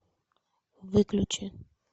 выключи